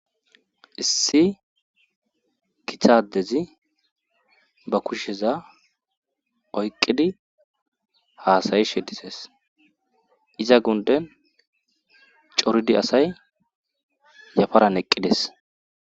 issi kithadezi ba kusheza oyqqidi haasayi shedises iza gunden coridi asay yafaran eqqides